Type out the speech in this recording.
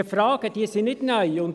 Diese Fragen sind nicht neu.